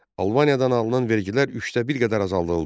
Albaniyadan alınan vergilər üçdə bir qədər azaldıldı.